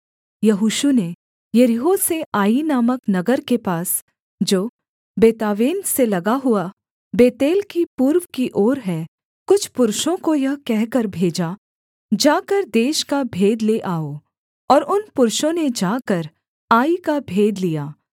यहोशू ने यरीहो से आई नामक नगर के पास जो बेतावेन से लगा हुआ बेतेल की पूर्व की ओर है कुछ पुरुषों को यह कहकर भेजा जाकर देश का भेद ले आओ और उन पुरुषों ने जाकर आई का भेद लिया